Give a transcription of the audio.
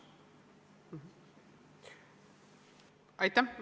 Aitäh!